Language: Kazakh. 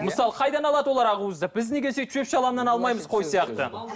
мысалы қайдан алады олар ақуызды біз неге сөйтіп шөп шаламнан алмаймыз қой сияқты